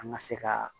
An ka se ka